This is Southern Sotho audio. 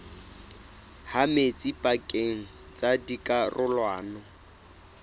ha metsi pakeng tsa dikarolwana